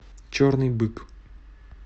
черный бык